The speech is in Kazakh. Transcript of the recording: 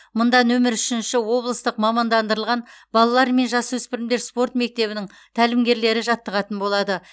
мұнда нөмір үшінші облыстық мамандандырылған балалар мен жас өспірімдер спорт мектебінің тәлімгерлері жаттығатын болады